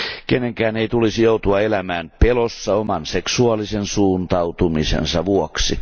Kenenkään ei tulisi joutua elämään pelossa oman seksuaalisen suuntautumisensa vuoksi.